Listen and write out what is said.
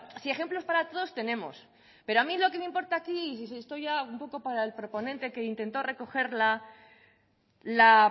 si ejemplos para todos tenemos pero a mí lo que me importa aquí y estoy ya un poco para el proponente que intentó recoger la